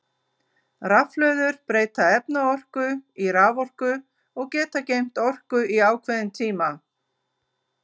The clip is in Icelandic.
Rafhlöður breyta efnaorku í raforku og geta geymt orku í ákveðin tíma.